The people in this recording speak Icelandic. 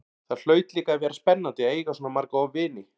Það hlaut líka að vera spennandi að eiga svona marga vini.